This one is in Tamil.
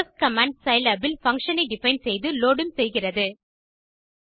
டெஃப் கமாண்ட் சிலாப் இல் பங்ஷன் ஐ டிஃபைன் செய்து லோட் உம் செய்கிறது